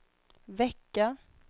vecka